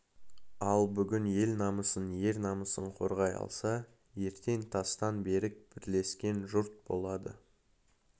ал бүгін ел намысын ер намысын қорғай алса ертең тастан берік бірлескен жұрт болады